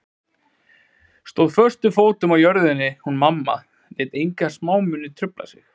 Stóð föstum fótum á jörðinni hún mamma, lét enga smámuni trufla sig.